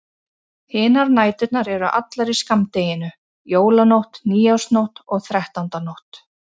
Hinar næturnar eru allar í skammdeginu: Jólanótt, nýársnótt og þrettándanótt.